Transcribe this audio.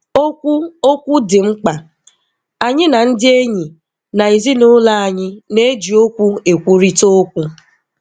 Okwu Okwu dị mkpa. Anyị na ndị enyi na ezinụlọ anyị na-eji okwu ekwurịta okwu.